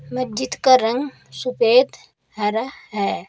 मस्जिद का रंग सफेद हरा है।